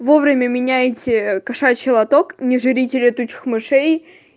вовремя меняйте кошачий лоток не жрите летучих мышей